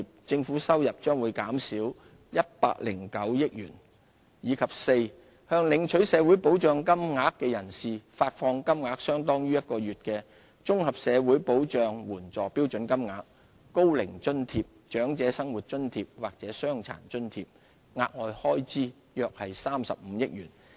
政府收入將減少109億元；及四向領取社會保障金額的人士，發放金額相當於1個月的綜合社會保障援助標準金額、高齡津貼、長者生活津貼或傷殘津貼，額外開支約35億元。